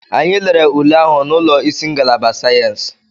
Anyị lere ule ahụ n'ụlọ isi ngalaba sayensị.